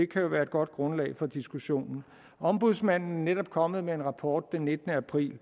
kan jo være et godt grundlag for diskussionen ombudsmanden er netop kommet med en rapport den nittende april